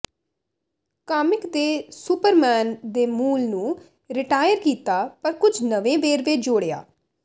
comic ਨੇ Superman ਦੇ ਮੂਲ ਨੂੰ ਰਿਟਾਇਰ ਕੀਤਾ ਪਰ ਕੁਝ ਨਵੇਂ ਵੇਰਵੇ ਜੋੜਿਆ